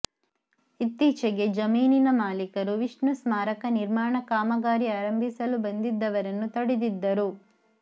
ಇತ್ತೀಚೆಗೆ ಜಮೀನಿನ ಮಾಲೀಕರು ವಿಷ್ಣು ಸ್ಮಾರಕ ನಿರ್ಮಾಣ ಕಾಮಗಾರಿ ಆರಂಭಿಸಲು ಬಂದಿದ್ದವರನ್ನು ತಡೆದಿದ್ದರು